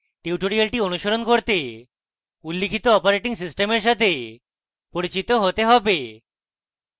tutorial অনুসরণ করতে উল্লিখিত operating systems সাথে পরিচিত হতে হবে